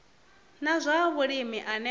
na zwa vhulimi ane a